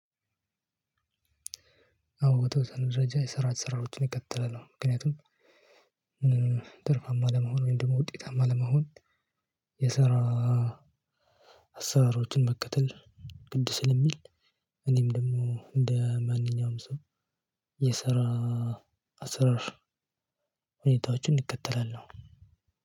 አዎ በተወሰነ ደረጃ የስርዐት ሽራዎችን እከተላለሁ። ምክንያቱም ትርፋማ ለመሆን ወይም ደግሞ ውጤታማ ለመሆን የስራ አሰራሮችን መከተል ግድ ስለሚል። እኔም ደግሞ እንደ ማንኛውም ሰው የስራ አሰራር ሁኔታዎችን እከተላለሁ።